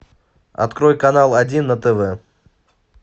открой канал один на тв